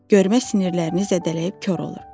Görmə sinirlərini zədələyib kor olur.